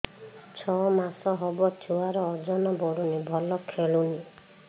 ଛଅ ମାସ ହବ ଛୁଆର ଓଜନ ବଢୁନି ଭଲ ଖେଳୁନି